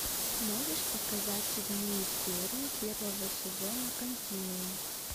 можешь показать седьмую серию первого сезона континуум